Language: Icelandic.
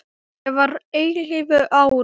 Ég var ellefu ára.